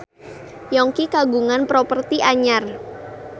Yongki kagungan properti anyar